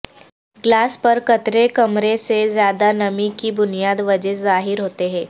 glass پر قطرے کمرے میں زیادہ نمی کی بنیادی وجہ ظاہر ہوتے ہیں